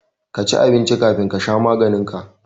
Ka ci abinci kafin ka sha maganin ka